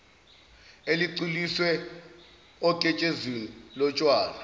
elicwiliswe oketshezini lotshwala